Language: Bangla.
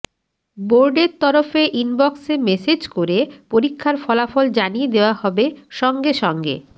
বোর্ডের তরফে ইনবক্সে মেসেজ করে পরীক্ষার ফলাফল জানিয়ে দেওয়া হবে সঙ্গে সঙ্গে